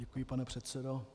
Děkuji, pane předsedo.